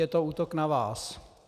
Je to útok na vás.